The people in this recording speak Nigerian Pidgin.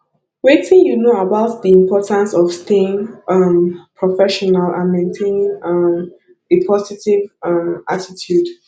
wetin you know about di importance of staying um professional and maintaining um a positive um attitude